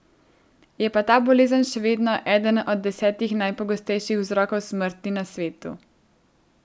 Je pa ta bolezen še vedno eden od desetih najpogostejših vzrokov smrti na svetu.